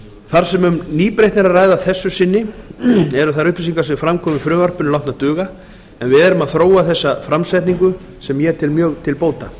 þar sem um nýbreytni er að ræða að þessu sinni eru þær upplýsingar sem fram koma í frumvarpinu látnar duga en við erum að þróa þessa framsetningu sem ég tel mjög til bóta